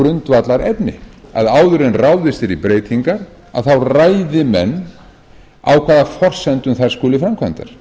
einmitt að umræðu um grundvallarefni áður en ráðist verði í breytingar ræði menn á hvaða forsendum þær skuli framkvæmdir